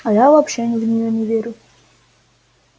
а я вообще в неё не верю